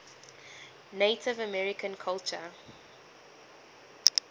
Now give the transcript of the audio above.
native american culture